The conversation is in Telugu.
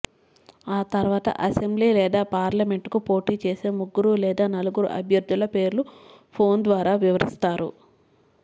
ఆ తర్వాత అసెంబ్లి లేదా పార్లమెంట్కు పోటీ చేసే ముగ్గురు లేదా నలుగురు అభ్యర్థుల పేర్లు ఫోన్ ద్వారా వివరిస్తారు